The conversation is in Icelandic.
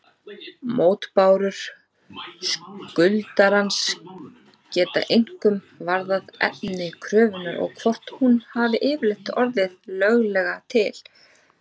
Mótbárur skuldarans geta einkum varðað efni kröfunnar og hvort hún hafi yfirleitt orðið löglega til.